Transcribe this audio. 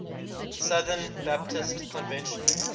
southern baptist convention